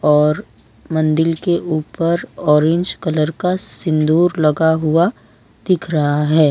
और मंदिल के ऊपर ऑरेंज कलर का सिंदूर लगा हुआ दिख रहा है।